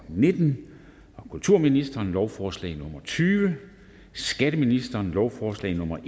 nitten kulturministeren lovforslag nummer l tyve skatteministeren lovforslag nummer